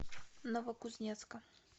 новокузнецка